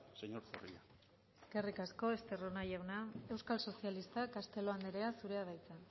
señor zorrilla eskerrik asko esterrona jauna euskal sozialistak castelo anderea zurea da hitza